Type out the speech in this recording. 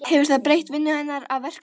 Hefur það breytt vinnu hennar og verkum?